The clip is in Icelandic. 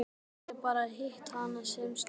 Ég hef bara hitt hana sem snöggvast.